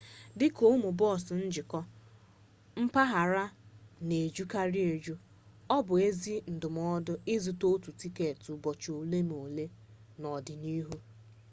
dị ka ụmụ bọọsụ njikọ-mpaghara na-ejukarị eju ọ bụ ezi ndụmọdụ ịzụta otu tiketi ụbọchị ole na ole n'ọdịnihu